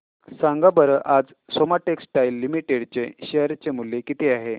सांगा बरं आज सोमा टेक्सटाइल लिमिटेड चे शेअर चे मूल्य किती आहे